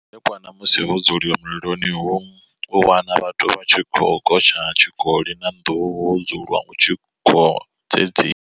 Nga madekwana musi ho dzulwa milioni hu u wana vhathu vha tshi khou gotsha tshikoli na nduhu ho dzulwa hu tshi khou dzedziwa.